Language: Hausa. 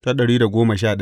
Yabi Ubangiji.